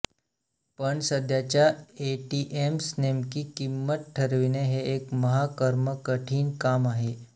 पण सध्याच्या एटीएम्स नेमकी किंमत ठरविणे हे एक महा कर्मकठीण काम आहे